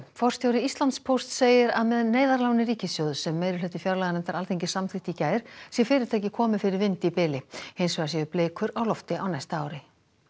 forstjóri Íslandspósts segir að með neyðarláni ríkissjóðs sem meirihluti fjárlaganefndar Alþingis samþykkti í gær sé fyrirtækið komið fyrir vind í bili hins vegar séu blikur á lofti á næsta ári